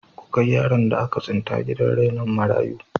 Ku kai yaron da aka tsinta gidan rainon marayu.